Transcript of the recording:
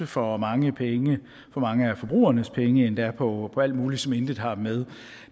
for mange penge for mange af forbrugernes penge endda på alt muligt som intet har med